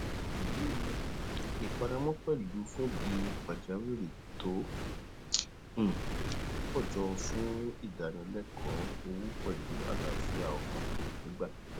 um ìfaramọ pẹlú fúndì pajawiri tó um pọ jọ fún ìdánilẹkọọ owó pẹlú àlàáfíà ọkàn nígbà pipẹ